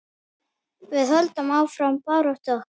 Við höldum áfram baráttu okkar.